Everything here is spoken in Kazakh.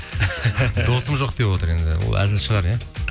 досым жоқ деп отыр енді ол әзіл шығар иә